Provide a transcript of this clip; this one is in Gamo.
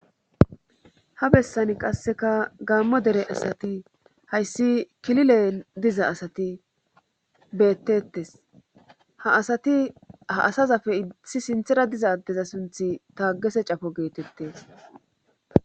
ha bessan qasseka gaammo dere asati hayssi kilile diza asati beettettes ha asati ha asazafe itsi sinthera diza addeza sunthi taagese cafo geetettes